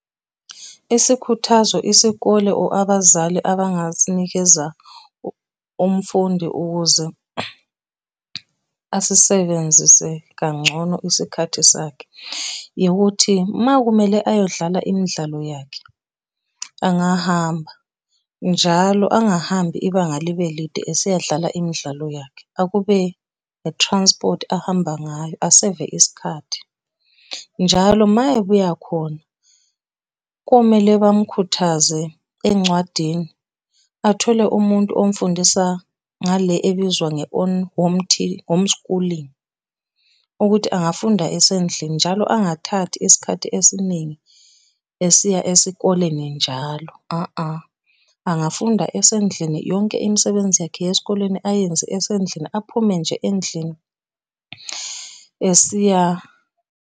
Isikhuthazo, isikole or abazali abangasinikeza umfundi ukuze asisebenzise kangcono isikhathi sakhe, ukuthi uma kumele ayodlala imidlalo yakhe, angahamba, njalo angahambi ibanga libe lide eseyodlala imidlalo yakhe. Akube, a transport ahamba ngayo, aseve isikhathi. Njalo mayebuya khona, komele bamukhuthaze encwadini athole umuntu omfundisa ngale ebizwa home, home schooling, ukuthi angafunda esendlini njalo angathathi isikhathi esiningi esiya esikoleni njalo . Angafunda esendlini yonke imisebenzi yakhe yesikoleni ayenze esendlini aphume nje endlini esiya.